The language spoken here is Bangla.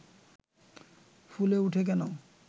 ফুলে উঠে কেন